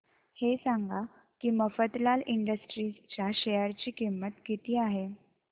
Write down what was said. हे सांगा की मफतलाल इंडस्ट्रीज च्या शेअर ची किंमत किती आहे